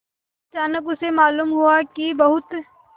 अचानक उसे मालूम हुआ कि बहुत